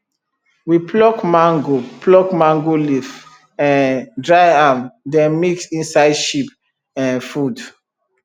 we pluck mango pluck mango leaf um dry am then mix inside sheep um food